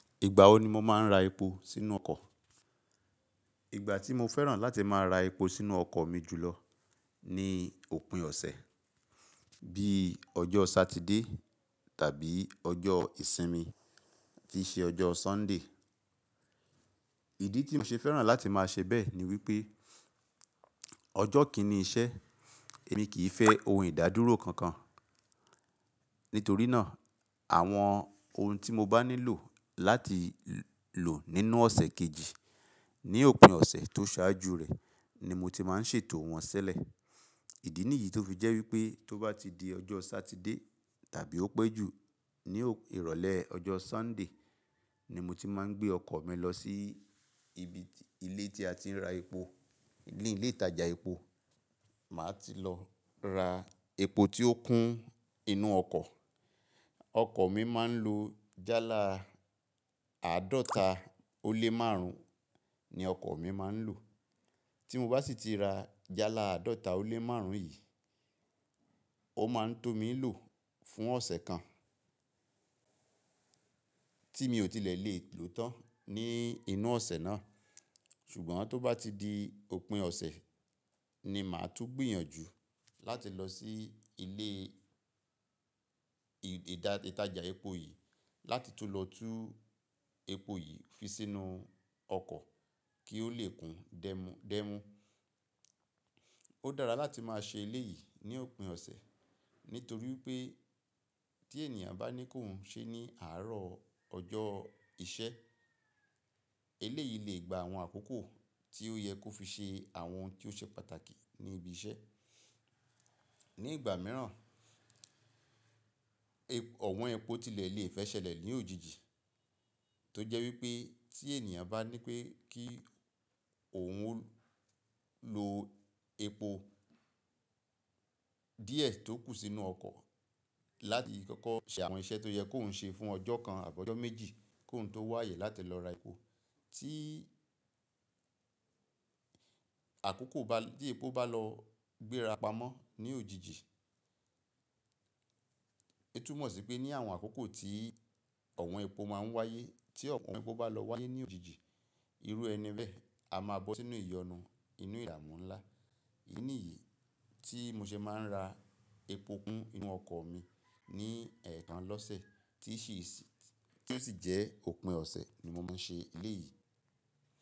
Ìgbà wo ni mo máa ń ra epo sínú ọkọ̀? Ìgbà tí mo fẹ́ràn láti máa ra epo sínú ọkọ̀ mi jù lọ ni òpin ọ̀sẹ̀, bí i ọjọ́ Sátidé tàbí ọjọ́ ìsinmi tí ṣe ọjọ́ Sọ́ńdè. Ìdí tí mo ṣe fẹ́ràn láti máa ṣe bẹ́ẹ̀ ni wípé ọjọ́ kì í ni iṣẹ́, èmi kì í fẹ́ ohun ìdádúró kankan. Nítorí náà, àwọn ohun tí mo bá nílò láti lò nínú ọ̀sẹ̀ kejì ní òpin ọ̀sẹ̀ tó ṣáájú rẹ̀ ni mo ti máa ń ṣètò wọ́n ṣẹ́lẹ̀. Ìdí nìyí tó fi jẹ́ wípé tó bá ti di ọjọ́ Sátidé tàbí ó pẹ́ jù ní ìrọ̀lẹ́ ọjọ́ Sọ́ńdè ni mo ti máa ń gbé ọkọ̀ mi lọ sí ibi ilé tí a ti ń ra epo, ilé ìtajà epo. Màá ti lọ ra epo tí ó kún inú ọkọ̀. Ọkọ̀ mi máa ń lo jálá àádọ́ta ó lé márùn-ún ni ọkọ̀ mi máa ń lò. Tí mo bá sì ti ra jálá àádọ́ta ó lé márùn-ún yìí, ó máa ń tó mi lò fún ọ̀sẹ̀ kan tí mi ò tilẹ̀ lè lò tán ní inú ọ̀sẹ̀ náà. Ṣùgbọ́n tó bá ti di òpin ọ̀sẹ̀ ni màá tún gbìyànjú láti lọ sí ilé ìtajà epo yìí láti tun lọ tú epo yìí fi sínú ọkọ̀ kí ó le kún dẹ́mu. Ó dára láti máa ṣe eléyìí ní òpin ọ̀sẹ̀ nítorí pé tí ènìyàn bá ní kó ń ṣe ní àárọ̀ ọjọ́ ìṣẹ́, eléyìí lè gba àwọn àkókò tí ó yẹ kó fi ṣe àwọn ohun tí ó ṣe pàtàkì ní ibi iṣẹ́. Ní ìgbà mìíràn, ọ̀wọ́n epo tilẹ̀ lè fẹ́ ṣẹlẹ̀ ní òjijì tó jẹ́ wípé tí ènìyàn bá ní pé kí òun lo epo díẹ̀ tó kù sínú ọkọ̀ láti kọ́kọ́ ṣe àwọn iṣẹ́ tó yẹ kó ń ṣe fún ọjọ́ kan àbọ́ ọjọ́ méjì kó ń tó wá àyè láti lọ ra epo. Tí àkókò bá, tí epo bá lọ gbéra pamọ́ ní òjijì, o tumọ si pe ni àwọn àkókò tí ọwọ̀n epo maa n waye tí ọwọ̀n epo ba lọ wáyé lojiji, iru ẹni bẹẹ a ma bọ sínú iyọnu, inu ìbámu nla idí nìyí tí mo ṣe máa ń ra epo kún inú ọkọ̀ mi ní ẹ̀ẹ̀kan lọ́sẹ̀ tí ó sì jẹ́ òpin ọ̀sẹ̀ ni mo máa ń ṣe eléyìí.